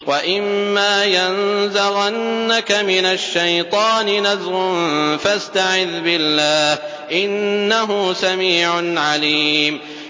وَإِمَّا يَنزَغَنَّكَ مِنَ الشَّيْطَانِ نَزْغٌ فَاسْتَعِذْ بِاللَّهِ ۚ إِنَّهُ سَمِيعٌ عَلِيمٌ